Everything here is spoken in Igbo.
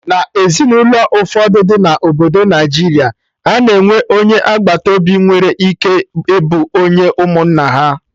Na Ezinụlọ ụfọdụ dị na obodo Naijiria, a na-enwe onye agbata obi nwere ike ịbụ onye ụmụnna ha